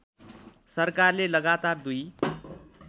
सरकारले लगातार दुई